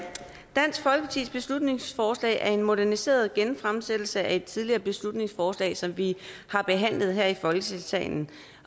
dansk folkepartis beslutningsforslag er en moderniseret genfremsættelse af et tidligere beslutningsforslag som vi har behandlet her i folketingssalen